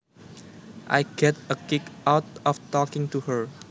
I get a kick out of talking to her